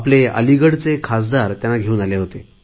अलिगडचे खासदार त्यांना घेऊन आले होते